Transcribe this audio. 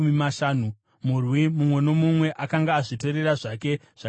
Murwi mumwe nomumwe akanga azvitorera zvake zvakapambwa.